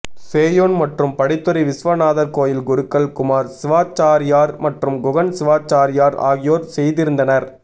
சேயோன் மற்றும் படித்துறை விஸ்வநாதர் கோயில் குருக்கள் குமார் சிவாச்சாரியார் மற்றும் குகன் சிவாச்சாரியார் ஆகியோர் செய்திருந்தனர்